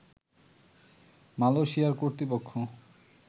মালয়েশিয়ার কর্তৃপক্ষ